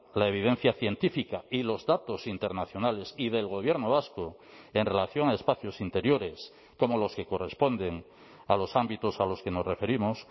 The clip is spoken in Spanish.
la evidencia científica y los datos internacionales y del gobierno vasco en relación a espacios interiores como los que corresponden a los ámbitos a los que nos referimos